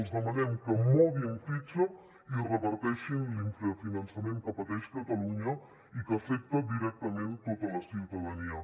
els demanem que moguin fitxa i reverteixin l’infrafinançament que pateix catalunya i que afecta directament tota la ciutadania